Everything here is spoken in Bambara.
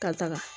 Ka taga